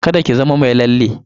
Kada ki zama mai lalle.